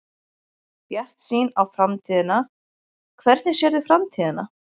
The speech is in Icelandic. Bjartsýn á framtíðina Hvernig sérðu framtíðina?